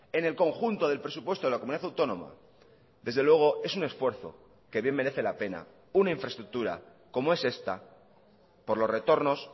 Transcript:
en el conjunto del presupuesto de la comunidad autónoma desde luego es un esfuerzo que bien merece la pena una infraestructura como es esta por los retornos